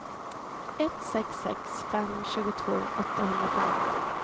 ett sex sex fem tjugotvå åttahundrafemtio